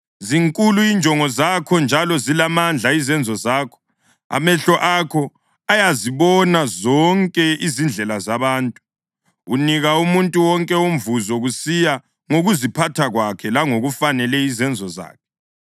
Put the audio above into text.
zinkulu injongo zakho njalo zilamandla izenzo zakho. Amehlo akho ayazibona zonke izindlela zabantu; unika umuntu wonke umvuzo kusiya ngokuziphatha kwakhe langokufanele izenzo zakhe.